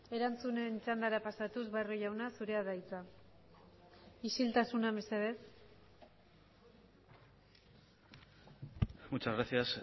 erantzunen txandara pasatuz barrio jauna zurea da hitza isiltasuna mesedez muchas gracias